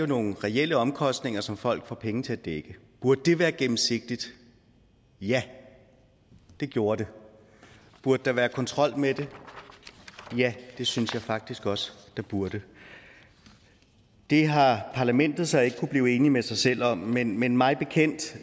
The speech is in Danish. nogle reelle omkostninger som folk får penge til at dække burde det være gennemsigtigt ja det gjorde det burde der være kontrol med det ja det synes jeg faktisk også der burde det har parlamentet så ikke kunnet blive enige med sig selv om men men mig bekendt